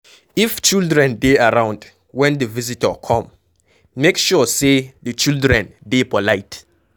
If children dey around when di visitor come, make sure sey di children dey polite